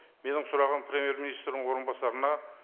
менің сұрағым премьер министрдің орынбасарына